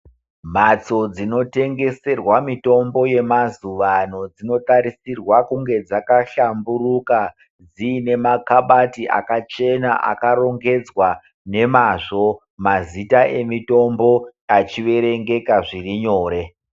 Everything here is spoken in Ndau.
Mhatso dzinotengeserwa mitombo yemazuvano dzinotarisirwa kunge dzakashamburuka dzinemakabati akachena akarongedzwa nemazvo mazita emitombo achiverengeka zvirinyore.